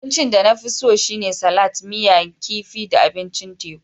Abincin da na fi so shine salat, miya kifi da abincin teku.